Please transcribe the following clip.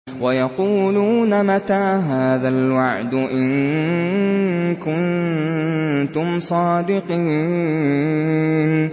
وَيَقُولُونَ مَتَىٰ هَٰذَا الْوَعْدُ إِن كُنتُمْ صَادِقِينَ